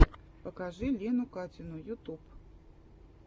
покажи лену катину ютуб